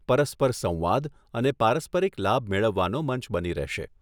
પરસ્પર સંવાદ અને પારસ્પરીક લાભ મેળવવાનું મંચ બની રહેશે.